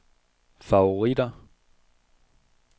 favoritter